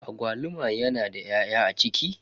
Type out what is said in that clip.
Agwaluma yana da 'ya'ya a ciki.